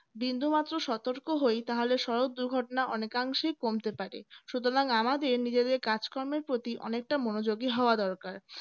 বিন্দুমাত্র সতর্ক হয় তাহলে সড়ক দুর্ঘটনা অনেকাংশে কমতে পারে সুতরাং আমাদের নিজেদের কাজকর্মের প্রতি অনেকটা মনোযোগী হওয়া দরকার